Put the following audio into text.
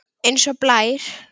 Eins og blær.